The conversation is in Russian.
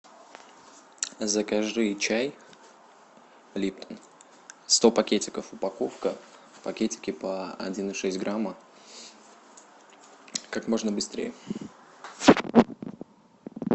закажи чай липтон сто пакетиков упаковка пакетики по один и шесть грамма как можно быстрее